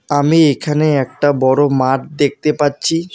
আমি এইখানে একটা বড়ো মাঠ দেখতে পাচ্ছি।